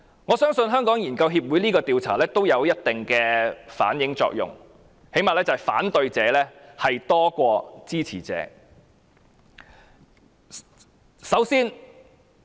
我相信，香港研究協會這項調查有一定的作用，最低限度反映反對者多於支持者。